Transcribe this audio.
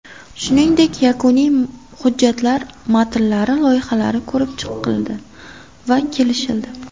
Shuningdek, yakuniy hujjatlar matnlari loyihalari ko‘rib chiqildi va kelishildi.